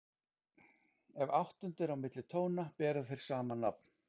Ef áttund er á milli tóna bera þeir sama nafn.